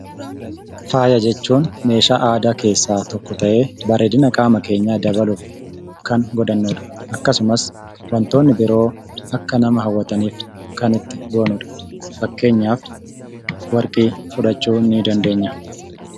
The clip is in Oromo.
Faaya jechuun meeshaa aadaa keessaa tokko ta'ee bareedina qaama keenya keenyaa dabaluuf kan godhannudha. Akkasumas wantootni biroo akka nama haawwataniif kan itti goonudha. Fakkeenyaaf warqee.